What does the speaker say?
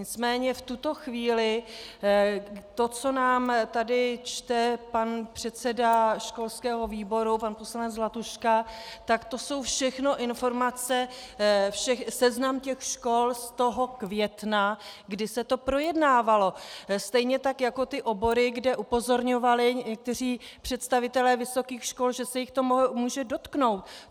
Nicméně v tuto chvíli to, co nám tady čte pan předseda školského výboru, pan poslanec Zlatuška, tak to jsou všechno informace - seznam těch škol z toho května, kdy se to projednávalo, stejně tak jako ty obory, kde upozorňovali někteří představitelé vysokých škol, že se jich to může dotknout.